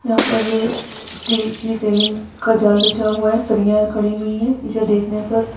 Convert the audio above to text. यहाँ पर स्टील की रेल्लिंग का जाल बिछा हुआ है सरिया खडी हुई है उसे देखने पर --